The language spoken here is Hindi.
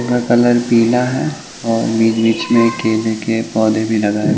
वो कलर पीला है और ये बीच में केले के पौधे भी लगाए --